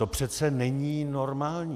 To přece není normální.